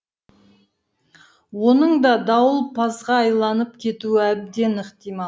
оның да дауылпазға айланып кетуі әбден ықтимал